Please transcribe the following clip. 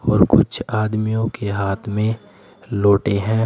और कुछ आदमियों के हाथ में लोटे हैं।